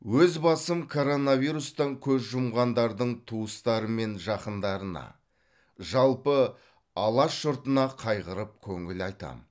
өз басым коронавирустан көз жұмғандардың туыстары мен жақындарына жалпы алаш жұртына қайғырып көңіл айтамын